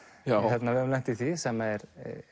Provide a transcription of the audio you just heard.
við höfum lent í því sem er